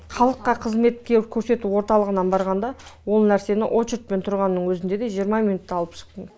халыққа қызметтер көрсету орталығына барғанда ол нәрсені очередьпен тұрған өзінде де жиырма минутта алып шықтым